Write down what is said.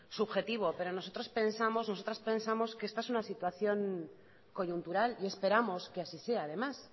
subjetivo pero nosotros pensamos nosotras pensamos que esta es una situación coyuntural y esperamos que así sea además